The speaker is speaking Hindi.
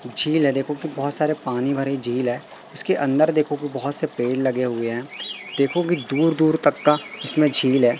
झील है देखो कि बहोत सारे पानी भरी झील है उसके अंदर देखो को बहोत से पेड़ लगे हुए हैं देखो कि दूर दूर तक का उसमें झील है।